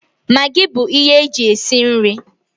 Magị bụ ihe eji esi nri